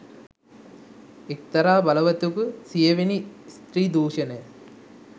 එකතරා බලවතෙකු සියවෙනි ස්ත්‍රී දූෂණය